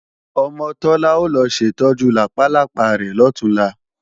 Ọmọ Tọ́lá ó lọ ṣètọ́jú làpálápá rẹ̀ lọ̀túnla